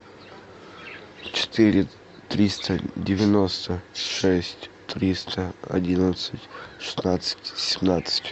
четыре триста девяносто шесть триста одиннадцать шестнадцать семнадцать